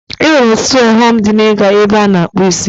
E nwere ọtụtụ ọghọm dị n'iga ebe a na-akpụ isi.